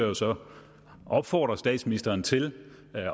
jo så opfordre statsministeren til